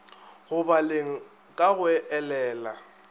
go baleng ka go elela